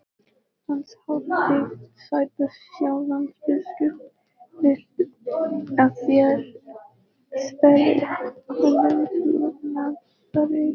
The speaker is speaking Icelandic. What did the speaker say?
Hans hátign, sagði Sjálandsbiskup,-vill að þér sverjið honum trúnaðareið.